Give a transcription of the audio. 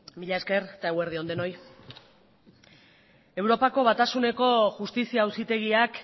mila esker eta eguerdi on denoi europako batasuneko justizia auzitegiak